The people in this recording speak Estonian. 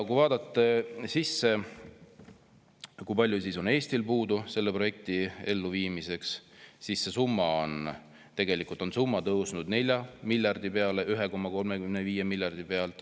Kui vaadata, kui palju on Eestil puudu raha selle projekti elluviimiseks, siis see summa on tegelikult tõusnud 1,35 miljardi pealt 4 miljardi peale.